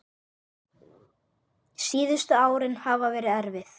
Síðustu árin hafa verið erfið.